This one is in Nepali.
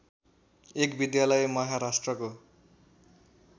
एक विद्यालय महाराष्‍ट्रको